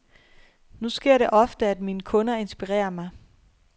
Nu sker det ofte, at mine kunder inspirerer mig.